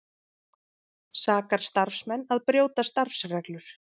Sakar starfsmenn að brjóta starfsreglur